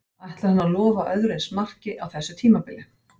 Ætlar hann að lofa öðru eins marki á þessu tímabili?